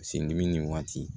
Sen dimi nin waati